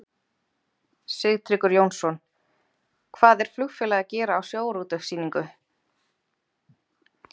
Sigtryggur Jónsson: Hvað er flugfélag að gera á sjávarútvegssýningu?